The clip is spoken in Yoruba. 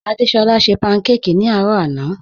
Adésọla ṣẹ pankáki ni arọ̀ àná